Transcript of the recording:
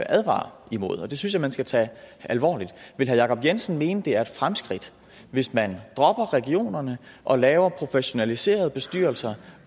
advarer imod det synes jeg man skal tage alvorligt vil herre jacob jensen mene det er et fremskridt hvis man dropper regionerne og laver professionaliserede bestyrelser